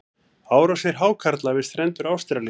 árásir hákarla við strendur ástralíu